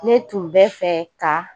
Ne tun bɛ fɛ ka